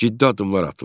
Ciddi addımlar atıldı.